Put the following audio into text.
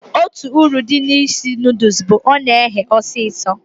Otú uru dị n'isi noodules bụ na ọ na ehe osisio